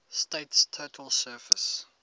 state's total surface